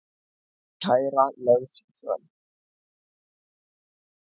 Kæra lögð fram